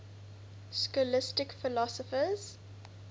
scholastic philosophers